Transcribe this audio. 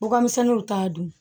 Bɔgɔmisɛnninw t'a dun